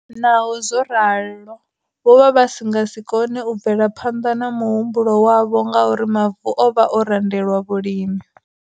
Naho zwo ralo, vho vha vha si nga si kone u bvela phanḓa na muhumbulo wavho ngauri mavu o vha o randelwa vhulimi.